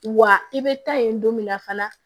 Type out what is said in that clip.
Wa i bɛ taa yen don min na fana